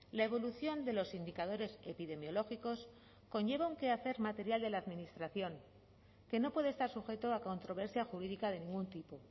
la evolución de los indicadores epidemiológicos conlleva un quehacer material de la administración que no puede estar sujeto a controversia jurídica de ningún tipo